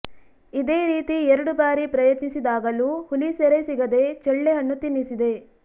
ಇದೇ ರೀತಿ ಎರಡು ಬಾರಿ ಪ್ರಯತ್ನಿಸಿದಾಗಲು ಹುಲಿ ಸೆರೆ ಸಿಗದೆ ಚಳ್ಳೆಹಣ್ಣು ತಿನ್ನಿಸಿದೆ